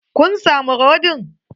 Kun samu rodin?